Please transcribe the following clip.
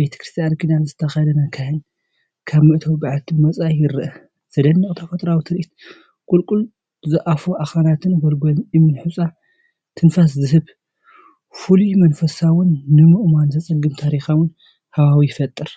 ቤተክርስትያን ክዳን ዝተኸድነ ካህን፡ ካብ መእተዊ በዓቲ ወጻኢ ይረአ፣ ዘደንቕ ተፈጥሮኣዊ ትርኢት ቁልቁል ዝኣፉ ኣኽራናትን ጎላጉልን እምኒ ሑጻ ትንፋስ ዝህብ፣ ፍሉይን መንፈሳውን ንምእማኑ ዘጸግም ታሪኻውን ሃዋህው ይፈጥር፤